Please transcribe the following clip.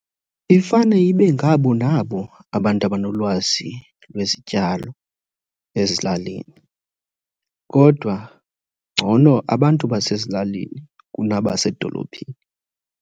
Ifane ibe ngabo nabo abantu abanolwazi lwezityalo ezilalini. Kodwa ngcono abantu basezilalini kunabasedolophini.